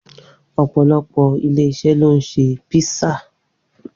Opolopo ilé-iṣẹ́ ló ń ṣe písà